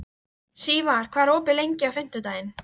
Sívar, hvað er opið lengi á fimmtudaginn?